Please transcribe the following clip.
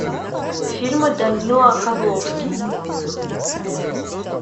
фильмы данила козловский